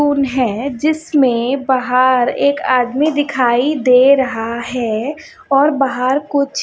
कौन है जिसमें बाहर एक आदमी दिखाई दे रहा है और बाहर कुछ--